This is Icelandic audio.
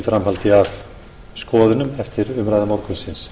framhaldi af skoðunum eftir umræðu morgunsins